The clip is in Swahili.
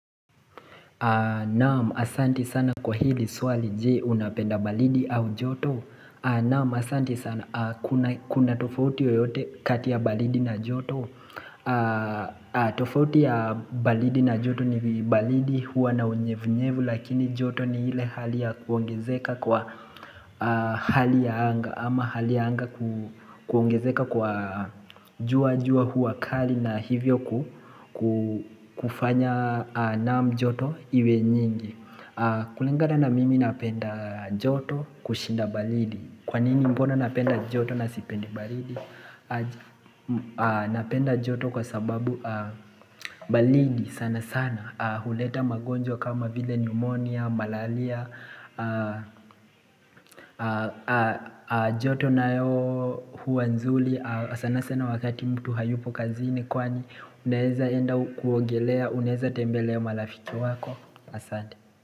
Naam asanti sana kwa hili swali je unapenda baridi au joto Naam asanti sana kuna tofauti yoyote katia baridi na joto tofauti ya baridi na joto ni baridi huwa na unyevunyevu lakini joto ni ile hali ya kuongezeka kwa hali ya anga ama hali ya anga kuongezeka kwa jua jua kuwa kali na hivyo kufanya naam joto iwe nyingi. Kulingana na mimi napenda joto kushinda baridi. Kwa nini mbona napenda joto na sipendi baridi? Napenda joto kwa sababu baridi sana sana. Huleta magonjwa kama vile pneumonia, malaria. Joto nayo huwa nzuri sana sana wakati mtu hayupo kazini kwani unaeza enda kuongelea, unaeza tembelea marafiki wako. Asante.